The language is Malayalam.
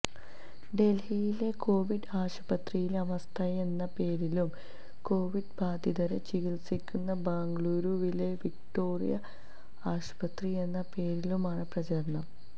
ഡൽഹിയിലെ കൊവിഡ് ആശുപത്രിയിലെ അവസ്ഥയെന്ന പേരിലും കൊവിഡ് ബാധിതരെ ചികിത്സിക്കുന്ന ബംഗളൂരുവിലെ വിക്ടോറിയ ആശുപത്രിയെന്ന പേരിലുമാണ് പ്രചാരണം